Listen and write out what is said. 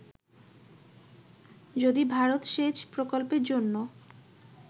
যদি ভারত সেচ প্রকল্পের জন্য